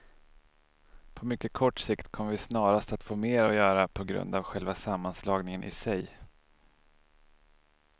På mycket kort sikt kommer vi snarast att få mer att göra på grund av själva sammanslagningen i sig.